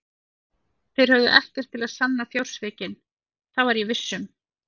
Þeir höfðu ekkert til að sanna fjársvikin, það var ég viss um.